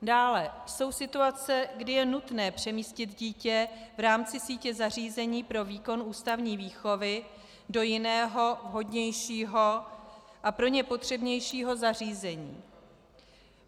Dále jsou situace, kdy je nutné přemístit dítě v rámci sítě zařízení pro výkon ústavní výchovy do jiného, vhodnějšího a pro ně potřebnějšího zařízení.